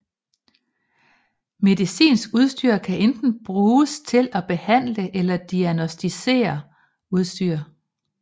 Medicinsk udstyr kan enten bruges til at behandle eller diagnosticere udstyr